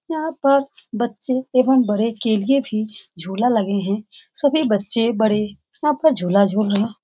यहाँ पर बच्चे एवं बड़े के लिए भी झूला लगे हें सभी बच्चे-बड़े यहाँ पर झूला झूल रहें --